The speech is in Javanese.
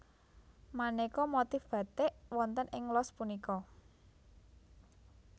Manéka motif batik wonten ing los punika